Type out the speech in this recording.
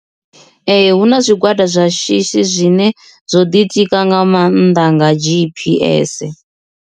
Ee hu na zwigwada zwa shishi zwine zwo ḓi tika nga maanḓa nga G_P_S.